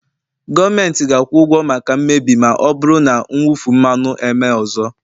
gọọmentị ga-akwụ ụgwọ maka mmebi ma ọ bụrụ na mwụfu mmanụ emee ọzọ